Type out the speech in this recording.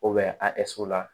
a la